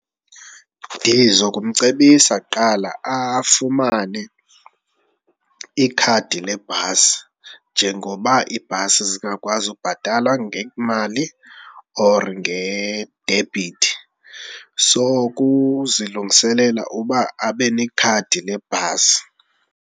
Ndiza kumcebisa kuqala afumane ikhadi lebhasi njengoba ibhasi zingakwazi ukubhatala ngemali or ngedebhithi. So ukuzilungiselela uba abe nekhadi le bhasi.